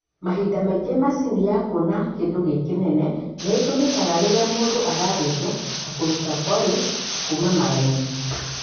Mahinda mangĩ macini ya kuona kindũ gĩ kĩnene nĩ ĩtũmikaga rĩrĩa mũndũ arathinjo ta kũruta polyps kuma marainĩ.